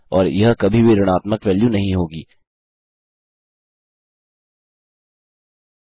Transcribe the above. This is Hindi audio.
और यह कभी भी ऋणात्मकनिगेटिव वेल्यू नहीं होगी